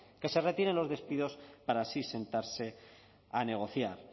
que se retiren los despidos para así sentarse a negociar